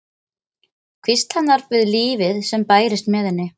Hvísl hennar við lífið sem bærist með henni.